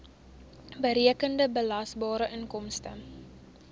berekende belasbare inkomste